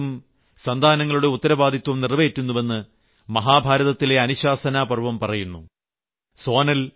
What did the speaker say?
വൃക്ഷം പരലോകത്തും സന്താനങ്ങളുടെ ഉത്തരവാദിത്വം നിറവേറ്റുന്നുവെന്ന് മഹാഭാരതത്തിലെ അനുശാസനാപർവ്വം പറയുന്നു